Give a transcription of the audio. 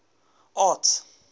arts